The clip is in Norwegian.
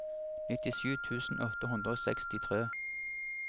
nittisju tusen åtte hundre og sekstitre